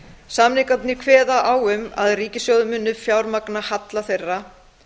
samningarnir kveða á um að ríkissjóður muni fjármagna halla þeirra